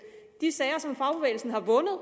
de sager som fagbevægelsen har vundet